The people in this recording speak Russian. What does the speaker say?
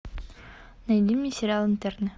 найди мне сериал интерны